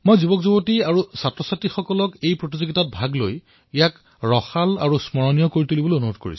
মই যুৱ বন্ধুসকল বিদ্যাৰ্থীসকলক অনুৰোধ কৰিম যে তেওঁলোকে এই কুইজ প্ৰতিযোগিতাত অংশগ্ৰহণ কৰক আৰু ইয়াক আকৰ্ষণীয় কৰি তোলক